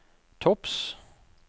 topps